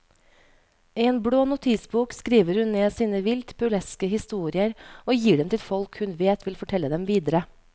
I en blå notisbok skriver hun ned sine vilt burleske historier og gir dem til folk hun vet vil fortelle dem videre.